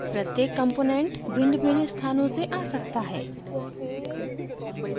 प्रत्येक component भिन्नभिन्न स्थानों से आ सकता है